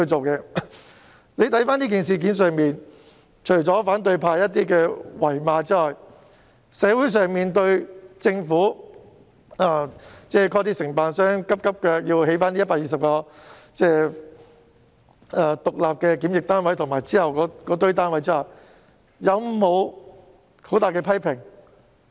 就今次的事件，除了反對派的謾罵外，對於政府物色承辦商迅速興建120個獨立檢疫單位及其後一些單位，社會有否大肆批評？